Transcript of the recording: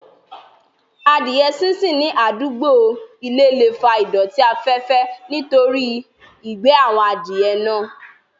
Adìẹ sínsìn ní àdúgbò ilé le fa ìdọ̀tí afẹ́fẹ́ nítorí ìgbẹ́ àwọn Adìẹ náà